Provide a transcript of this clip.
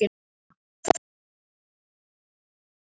Öll þessi þrjú mál teljast upplýst